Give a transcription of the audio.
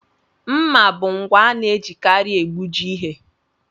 Mmà bụ ngwa ana-ejikarị egbuji ihe.